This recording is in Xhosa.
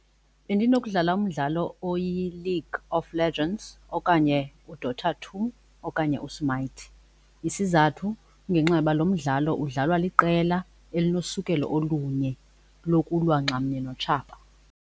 Bendinokukudlala umdlalo oyiLeague of Legends okanye uDaughter two okanye uSmite. Isizathu kungenxa yoba lo mdlalo udlalwa liqela elinosukelo olunye lokulwa ngxamnye notshaba.